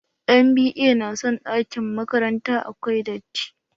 NBa na son ɗakin makranta, akwai datti.